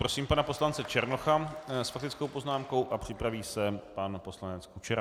Prosím pana poslance Černocha s faktickou poznámkou a připraví se pan poslanec Kučera.